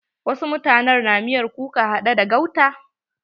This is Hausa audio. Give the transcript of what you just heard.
Wasu mutanen na miyar kuka haɗe da gauta.